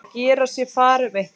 Að gera sér far um eitthvað